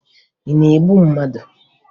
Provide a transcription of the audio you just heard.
Ị na-egbu mmadụ?